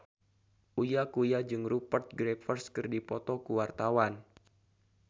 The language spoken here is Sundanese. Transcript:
Uya Kuya jeung Rupert Graves keur dipoto ku wartawan